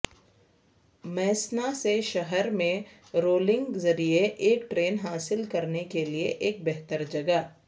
میسنا سے شہر میں رولنگ ذریعے ایک ٹرین حاصل کرنے کے لئے ایک بہتر جگہ